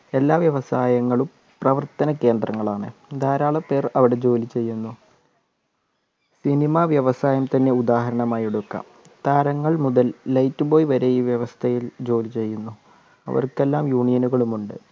എല്ലാ വ്യവസായങ്ങളും പ്രവർത്തന കേന്ദ്രങ്ങളാണ് ധാരാളം പേർ അവിടെ ജോലിചെയ്യുന്നു cinema വ്യവസായം തന്നെ ഉദാഹരണമായി എടുക്കാം താരങ്ങൾ മുതൽ light boy വരെ ഈ വ്യവസ്ഥയിൽ ജോലി ചെയ്യുന്നു അവർക്കെല്ലാം union നുകളുമുണ്ട്